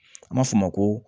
An b'a f'o ma ko